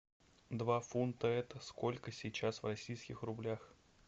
два фунта это сколько сейчас в российских рублях